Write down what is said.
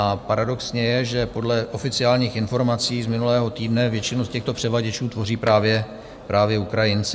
A paradoxní je, že podle oficiálních informací z minulého týdne většinu z těchto převaděčů tvoří právě Ukrajinci.